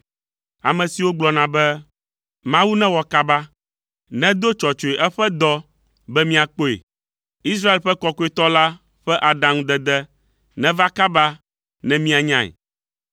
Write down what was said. ame siwo gblɔna be “Mawu newɔ kaba. Nedo tsɔtsɔe eƒe dɔ be miakpɔe; Israel ƒe Kɔkɔetɔ la ƒe aɖaŋudede neva kaba ne mianyae.”